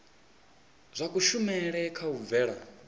zwa kushumele kha u bvela